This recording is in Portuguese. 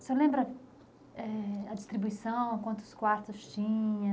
O senhor eh, lembra a distribuição, quantos quartos tinha?